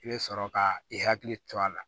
I bɛ sɔrɔ ka i hakili to a la